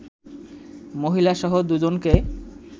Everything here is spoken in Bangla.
মহিলাসহ দুইজনকে